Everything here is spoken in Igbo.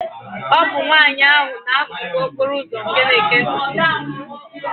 bụ nwaanyị ahụ n'akụkụ okporo ụzọ nke na-ekee ntutu m